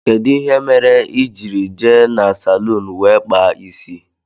Kedụ ihe mere ijiri jee n' salun wee kpaa isi?